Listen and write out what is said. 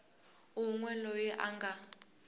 un we loyi a nga